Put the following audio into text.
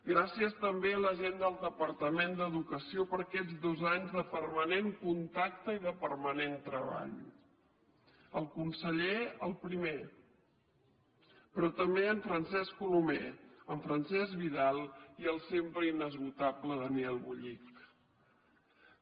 gràcies també a la gent del departament d’educació per aquests dos anys de permanent contacte i de permanent treball el conseller el primer però també en francesc colomé en francesc vidal i el sempre inesgotable daniel bullich